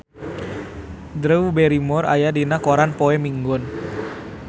Drew Barrymore aya dina koran poe Minggon